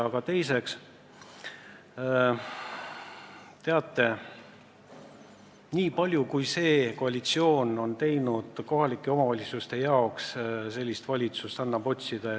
Aga teiseks, teate, nii palju, kui see koalitsioon on teinud kohalike omavalitsuste huvides, seda annab otsida.